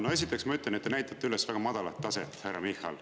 No esiteks ma ütlen, et te näitate üles väga madalat taset, härra Michal.